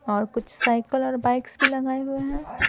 और कुछ साइकिल और बाइक्स भी लगाए हुए हैं।